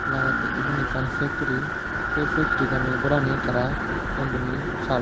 lagettey iben ekkan factry sey factorigan gorani tara ton diney saal don.